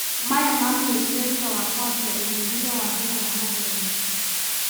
Maya mamenyekire thutha wa kũambi ũthuthuria wa mbere wa mathomo.